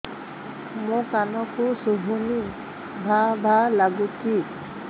ମୋ କାନକୁ ଶୁଭୁନି ଭା ଭା ଲାଗୁଚି